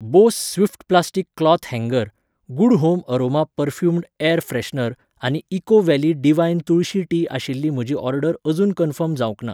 Bose Swift plastic cloth हँगर ,good home aroma perfumed air freshener आनी eco valley divine tulsi tea आशिल्ली म्हजी order अजून कन्फर्म जावंक ना